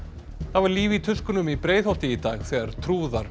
það var líf í tuskunum í Breiðholti í dag þegar trúðar